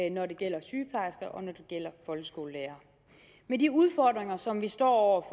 og når det gælder folkeskolelærere med de udfordringer som vi står